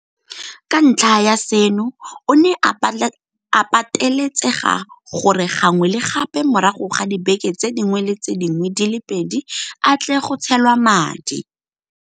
Ka ntlha ya seno, o ne a patelesega gore gangwe le gape morago ga dibeke tse dingwe le tse dingwe di le pedi a tle go tshelwa madi.